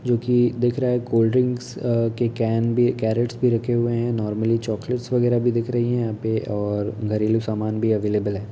जो की दिख रहा है कोल्ड ड्रिंक के कान भी कैरेट रखे हुए है नॉर्मली चॉकलेट्स वगैरह भी दिख रही है यहाँं पर और घरेलू सामान भी अवेलेबल है।